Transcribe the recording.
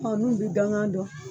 Ɔ n'u bɛ dangan dɔn.